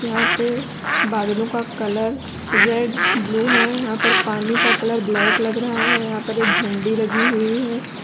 यहां पे बादलों का कलर रेड ब्लू है यहां पानी का कलर ब्लैक लग रहा है यहां पर एक झड़ी लगी हुई है।